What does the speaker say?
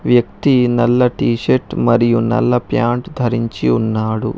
వ్యక్తి నల్ల T shirt మరియు నల్ల ప్యాంట్ ధరించి ఉన్నాడు.